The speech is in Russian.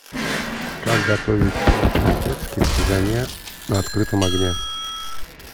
как готовить плов по узбекски в казане на открытом огне